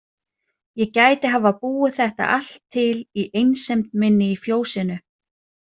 Ég gæti hafa búið þetta allt til í einsemd minni í fjósinu.